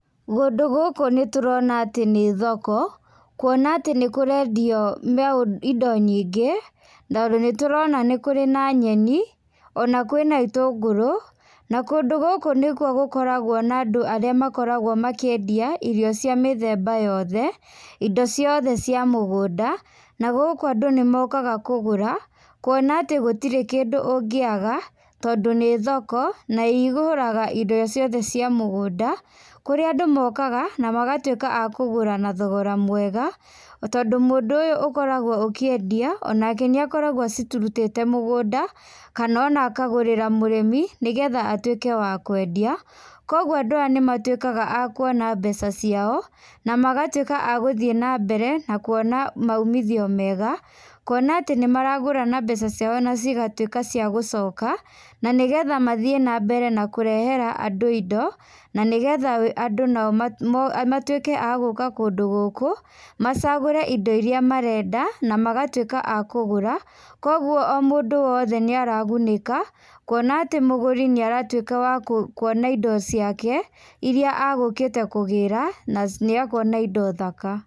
Kũndũ gũkũ nĩ tũrona ati nĩ thoko, kuona atĩ nĩ kũrendio indo nyingĩ. Tondũ nĩ tũrona nĩ kũrĩ na nyeni, ona kwĩna itũngũrũ. Na kũndũ gũkũ nĩ kuo gũkoragwo na andũ arĩa makoragwo makĩendia irio cia mĩthemba yothe, indo ciothe cia mũgũnda. Na gũkũ andũ nĩ mokaga kũgũra, kuona atĩ gũtirĩ kĩndũ ũngĩaga tondũ nĩ thoko, na igũraga indo ciothe cia mũgũnda, kũrĩa andũ mokaga na magatuĩka a kũgũra na thogora mwega. Tondũ mũndũ ũyũ ũkoragwo ũkĩendia o nake nĩ akoragwo acirutĩte mugũnda kana ona akagũrĩra mũrĩmi nĩgetha atuĩke wa kwenda. Koguo andũ aya nĩ matuĩkaga a kũona mbeca ciao na magatuĩka a guthiĩ na mbere na kũona maumithio mega. Kuona atĩ nĩ maragura na mbeca ciao na cigatuĩka ciagũcoka, na nĩgetha mathiĩ na mbere na kurehera andũ indo na nĩgetha andũ nao matuĩke a gũũka kũndũ gũkũ macagũre indo irĩa marenda na magatuĩka a kũgũra. Koguo, o mũndũ o wothe nĩ aragunĩka kũona atĩ mũgũri nĩ aratuĩka wa kũona indo ciake iria agũkĩte kũgĩra na nĩ akona indo thaka.